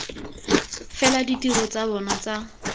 fela ditiro tsa bona tsa